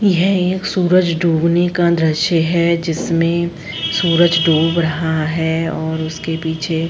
यह एक सूरज डूबने का दृश्य है। जिसमे सूरज डूब रहा है और उसके पीछे --